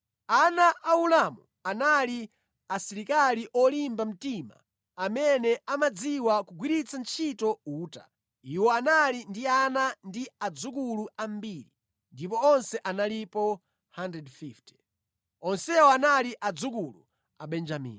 Ana a Ulamu anali asilikali olimba mtima amene amadziwa kugwiritsa ntchito uta. Iwo anali ndi ana ndi adzukulu ambiri ndipo onse analipo 150. Onsewa anali adzukulu a Benjamini.